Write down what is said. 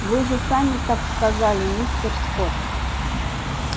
вы же сами так сказали мистер скотт